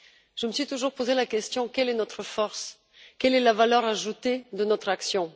Je me suis toujours posé la question suivante quelle est notre force, quelle est la valeur ajoutée de notre action?